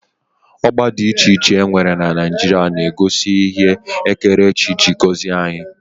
Ọgba dị iche iche e nwere na Naijiria na-egosi ihe ndị ekerechi ji gọzie anyị